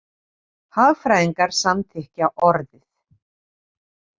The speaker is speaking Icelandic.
Hagfræðingar samþykkja orðið.